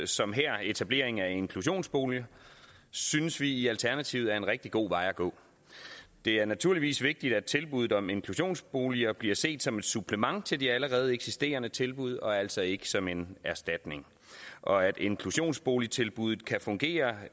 som her etableringen af inklusionsboliger synes vi i alternativet er en rigtig god vej at gå det er naturligvis vigtigt at tilbuddet om inklusionsboliger bliver set som et supplement til de allerede eksisterende tilbud og altså ikke som en erstatning og at inklusionsboligtilbuddet kan fungere